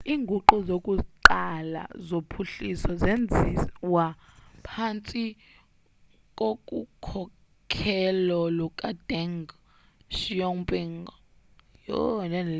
inguqu zokuqala zophuhliso zenziwa phantsi kokukhokhelo lukadeng xiaoping